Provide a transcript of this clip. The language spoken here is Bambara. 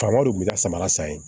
Faamaw de kun bɛ ka samara san ye